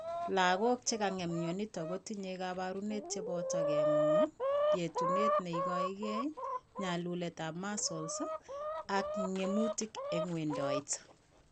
Lagok chekikong'em myonitok kotinye kabarunoik cheboto king'uung, yetunet neikoegei, nyalulet ab muscles ak ng'emutik en wendiet